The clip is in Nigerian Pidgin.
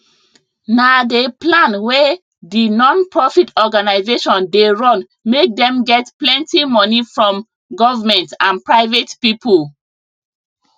na dey plan wey d non profit organisation dey run make dem get plenty money from government and private people